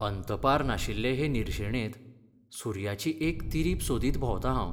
अंतपार नाशिल्ले हे निर्शेणेंत सुर्याची एक तिरीप सोदीत भोंवतां हांव.